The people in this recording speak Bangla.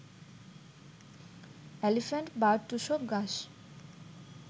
এলিফ্যান্ট বা টুসক ঘাস